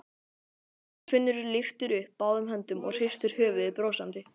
Þorfinnur lyftir upp báðum höndum og hristir höfuðið brosandi.